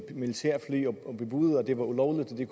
militærfly og bebudede at det var ulovligt at det